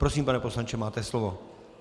Prosím, pane poslanče, máte slovo.